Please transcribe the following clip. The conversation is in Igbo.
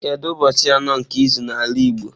Kedu ụbọchị anọ nke izu n'ala igbo?